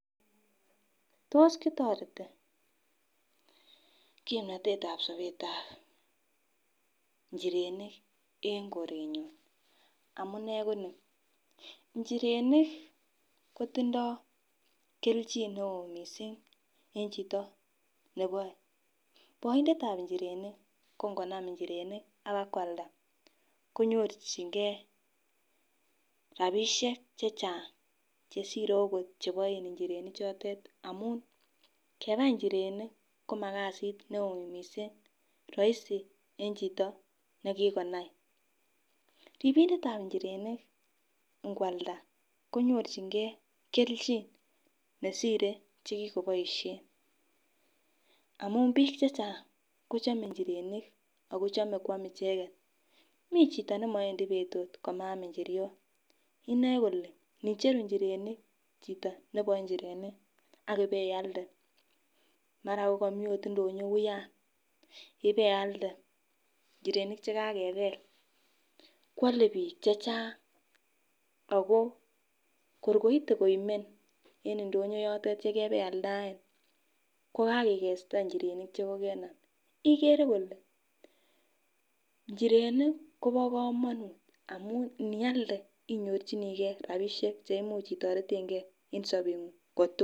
Tos kitoreti kipnotetab sobetab ichirenik en korenyun amunee konii inchirenik kotindo keljin neo missing en chito neboe. Boindetab inchirenik ko ngonam inchirenik abakwalda konyorchigee rabishek chechang cheshire okot cheboen inchirenik choton amun kebai inchirenik komakasit neo missing, roisi en chito nekikonai. Ripidetab inchirenik ikwalda konyorchigee keljin nesire chekikoboishen amun bik chechang kochome inchirenik ako chome kwam icheket, Mii chito nemowendii betut kaam inchiriot inoe kole nicheru chito neboe inchirenik akibealde mara ot kokomii indonyo wuyan ibealde kwole bik chechang ako kor koite komie en indonyo yote yekebealdaen ko kakikesta nchirenik chekokenam ikere kole nchirenik Kobo komonut amun nialde inyorchiniigee rabishek cheimuch itoretengee en sobenguny kotukul.